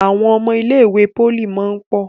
Àwọn ọmọ ilé ìwé poli món pọ.